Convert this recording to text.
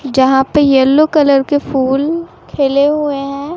जहां पे yellow colour के फूल खिले हुए हैं।